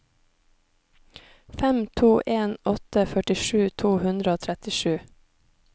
fem to en åtte førtisju to hundre og trettisju